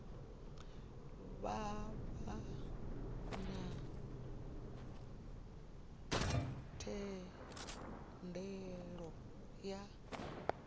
vha vha na thendelo ya